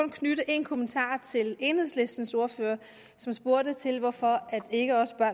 knytte en kommentar til enhedslistens ordfører som spurgte til hvorfor det ikke også er